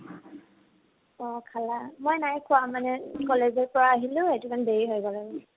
অ খালা। মই নাই খোৱা মানে college ৰ পৰা আহিলো, সেইটো কাৰণে দেৰি হৈ গল আৰু।